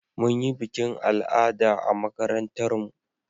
Mun yi bikin al'ada a makarantar mu